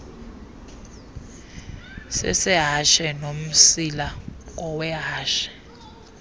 sesehashe nomsila ngowehashe